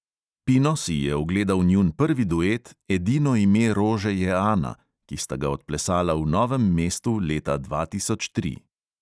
Pino si je ogledal njun prvi duet "edino ime rože je ana", ki sta ga odplesala v novem mestu leta dva tisoč tri.